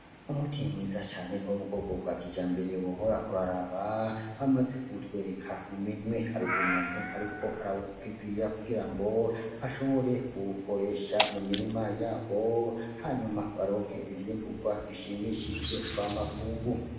Umuti mwiza cane wo mubwoko bwakijambere wohora uraraba ,bamaze kuwutwereka mu minwe .Har'umuntu ariko arawupibiriya kugirango ashobore kuwukoresha mu mirima yabo hanyuma baronk ivyimburwa bishimishije mva makungu.